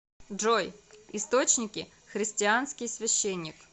джой источники христианский священник